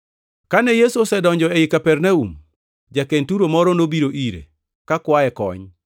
Kane Yesu osedonjo ei Kapernaum, ja-Kenturo moro nobiro ire, kakwaye kony.